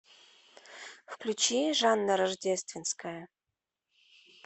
включи жанна рождественская